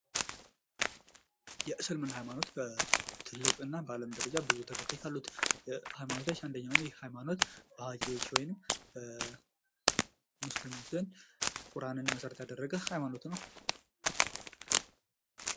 የእስልምና ሃይማኒትት ትልቅ እና በአለም ላይ ብዙ ተከታይ ካሉት ሃይማኖቶች አንደኛው ነው። ይህ ሃይማኖት በሃኪዎች ወይንም ሙስሊሞች ዘንድ ቁራንን መሰረት ያደረገ ሃይማኖት ነው።